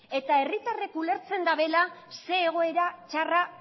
eta herritarrek ulertzen dabela ze egoera txarra